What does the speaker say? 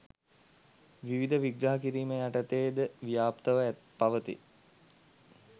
විවිධ විග්‍රහ කිරීම් යටතේ ද ව්‍යාප්තව පවතී.